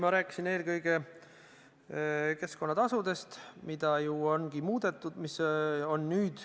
Ma pidasin eelkõige silmas keskkonnatasusid, mida ju ongi muudetud.